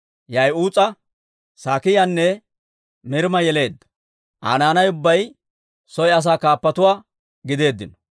Ya'uus'a, Saakiyaanne Mirmma yeleedda. Aa naanay ubbay soy asaa kaappatuwaa gideeddino.